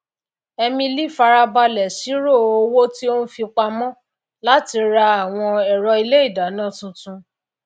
emily farabalè sírò owó tí ó n fi pamó làti ra àwon èro ilé ìdáná titun